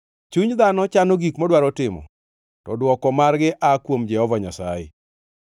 Chuny dhano chano gik modwaro timo, to dwoko margi aa kuom Jehova Nyasaye.